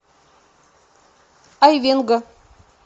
айвенго